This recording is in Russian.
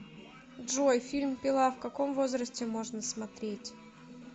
джой фильм пила в каком возрасте можно смотреть